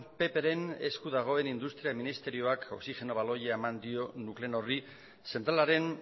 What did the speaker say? ppren esku dagoen industria ministerioak oxigeno baloia eman dio nuclenorri zentralaren